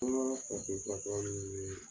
An ka farafin furakɛla ninnu